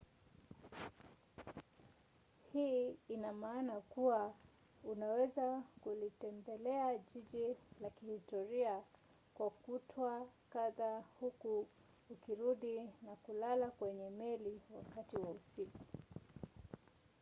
hii ina maana kuwa unaweza kulitembelea jiji la kihistoria kwa kutwa kadhaa huku ukirudi na kulala kwenye meli wakati wa usiku